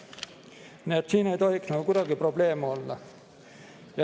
Nii et siin ei tohiks nagu kuidagi probleeme olla.